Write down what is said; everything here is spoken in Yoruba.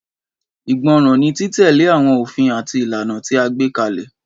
Ìgbọràn ni, títẹ̀lé àwọn ofin àti ìlànà tí a gbé kalẹ̀.